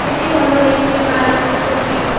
এটি হল একটি বাড়ির ছবি।